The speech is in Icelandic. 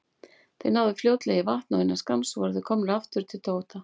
Þeir náðu fljótlega í vagn og innan skamms voru þeir komnir aftur heim til Tóta.